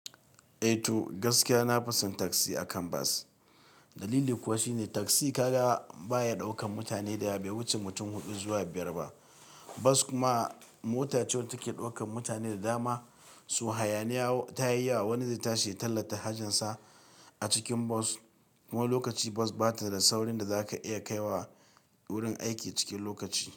Eh to gaskiya na fi son taksi akan bas. Dalili kuwa shine taksi ka ga baya ɗaukan mutane da yawa bai wuce mutum huɗu zuwa biyar ba. Bas kuma mota ce wanda take ɗaukan mutane da dama, so hayaniya ta yi yawa. Wani zai tashi ya tallata hajinsa a cikin bas kuma lokaci bas bata da saurin da zaka iya kaiwa wurin aiki cikin lokaci.